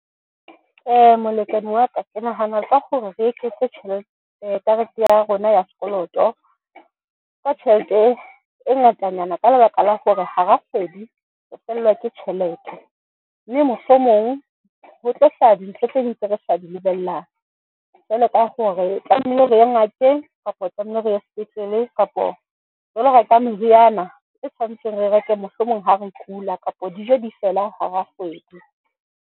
Molekane wa ka ke nahana ka gore re eketse tjhelete. Karete ya rona ya sekoloto ka tjhelete e ngatanyana ka lebaka la hore hara kgwedi, re fellwa ke tjhelete mme mohlomong ho tlo hlaha dintho tse ding tse re sa di lebellang, jwalo ka gore tlameile re ye ngakeng kapa tlamehile re ye sepetlele kapa re lo reka meriana e tshwantseng, re reke mohlomong ha re kula kapa dijo di fela hara kgwedi.